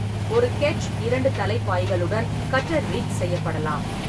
ஒரு கெட்ச் இரண்டு தலை பாய்களுடன் கட்டர்-ரிக் செய்யப்படலாம்.